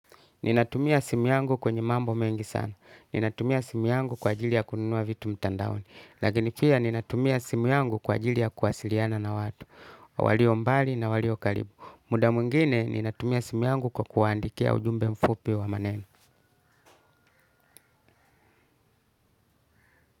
Ninatumia simu yangu kwenye mambo mengi sana. Ninatumia simu yangu kwa ajili ya kununua vitu mtandaoni. Lagini pia ninatumia simu yangu kwa ajili ya kuwasiliana na watu. Walio mbali na walio karibu. Muda mwingine ninatumia simu yangu kwa kuwaandikia ujumbe mfupi wa maneno.